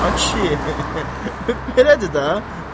Ay kişi, belədir də.